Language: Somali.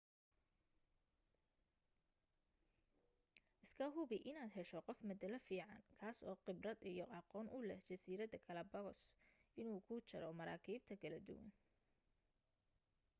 iska hubi in aad hesho qof matale fican kaas oo qibrad iyo aqoon u leh jaziirada galapagos inuu kuu jaro marakiibta kala duwan